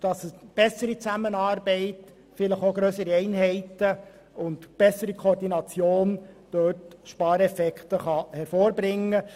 Eine bessere Zusammenarbeit, vielleicht auch grössere Einheiten, sowie eine bessere Koordination könnten durchaus noch Spareffekte hervorbringen.